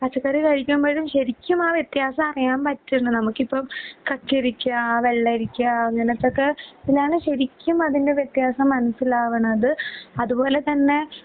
പച്ചക്കറി കഴിക്കുമ്പഴും ശരിക്കും ആ വ്യത്യാസമാറിയാണ് പറ്റുന്ന. നമുക്കിപ്പം കക്കരിക്കാ, വെള്ളരിക്കാ അങ്ങനെത്തൊക്കെ ഞാന് ശരിക്കും അതിൻ്റെ വ്യത്യാസം മനസിലാവാണത്. അതുപോലെതന്നെ